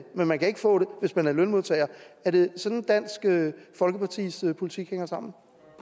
men man kan ikke få det hvis man er lønmodtager er det sådan at dansk folkepartis politik hænger sammen